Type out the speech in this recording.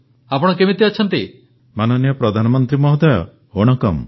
ପ୍ରଧାନମନ୍ତ୍ରୀ ୱଣକ୍କମ୍ ୱଣକ୍କମ୍ ଉଙ୍ଗଲକ୍କେ ଇନ୍ଦ ଲାଇବ୍ରେରୀ ଆଇଡିଆ ୟେପ୍ପଡ଼ି ୱନ୍ଦଦା